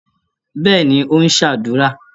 Bẹ́ẹ̀ni, ó ń ṣàdúrà.